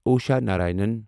Usha Narayanan